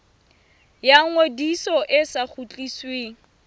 ya ngodiso e sa kgutlisweng